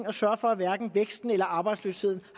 og sørger for at hverken væksten eller arbejdsløsheden